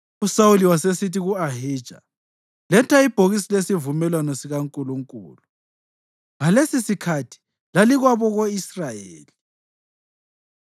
USawuli wasesithi ku-Ahija, “Letha ibhokisi lesivumelwano sikaNkulunkulu.” (Ngalesisikhathi lalikwabako-Israyeli.)